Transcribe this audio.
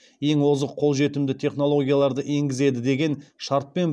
ең озық қолжетімді технологияларды енгізеді деген шартпен